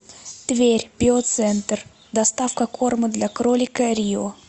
тверь биоцентр доставка корма для кролика рио